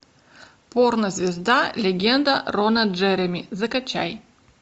порно звезда легенда рона джереми закачай